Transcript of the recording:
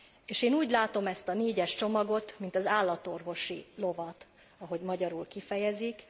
És én úgy látom ezt a négyes csomagot, mint az állatorvosi lovat, ahogy magyarul kifejezik.